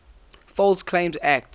false claims act